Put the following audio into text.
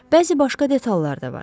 Bəzi başqa detallar da var.